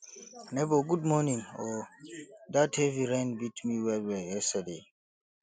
nebor good morning o dat heavy rain beat me wellwell yesterday